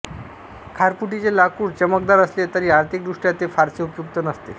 खारफुटीचे लाकूड चमकदार असले तरी आर्थिक दृष्ट्या ते फारसे उपयुक्त नसते